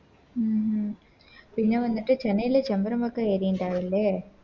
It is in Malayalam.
ഉം ഉം പിന്നെ വന്നിട്ട് ചെന്നൈയിലെ ഒക്കെ ഏറിണ്ടാവില്ലേ